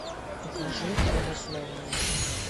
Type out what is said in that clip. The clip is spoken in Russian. покажи родословная